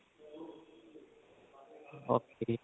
okay